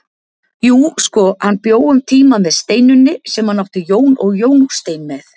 Jú, sko, hann bjó um tíma með Steinunni sem hann átti Jón og Jóstein með.